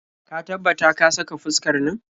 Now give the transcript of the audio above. Ka tabbata ka saka fuskar nan.